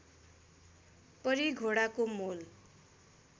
परी घोडाको मोल